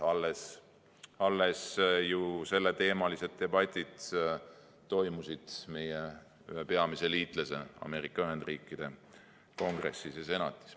Alles ju toimusid selleteemalised debatid meie ühe peamise liitlase Ameerika Ühendriikide Kongressis ja Senatis.